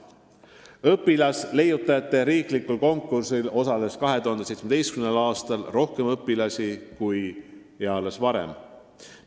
Õpilasleiutajate riiklikul konkursil osales 2017. aastal rohkem õpilasi kui eales varem.